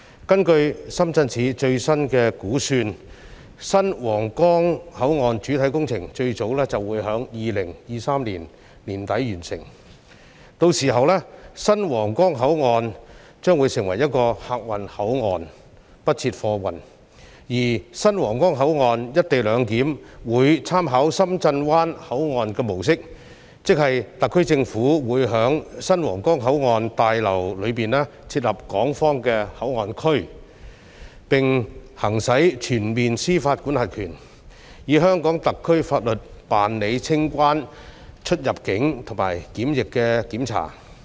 根據深圳市政府最新估算，新皇崗口岸的主體工程最早會於2023年年底完成，屆時新皇崗口岸將會成為客運口岸，不設貨運，而新皇崗口岸的"一地兩檢"安排，會參考深圳灣口岸的模式，即特區政府會在新皇崗口岸大樓內設立港方口岸區，並行使全面司法管轄權，以香港特區法律辦理清關、出入境和檢疫的檢查。